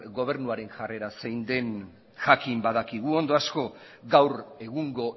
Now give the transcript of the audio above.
gobernuaren jarrera zein den jakin badakigu ondo asko gaur egungo